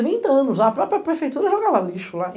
Trinta anos lá, a própria prefeitura jogava lixo lá.